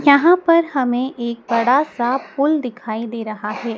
यहां पर हमें एक बड़ा सा पुल दिखाई दे रहा है।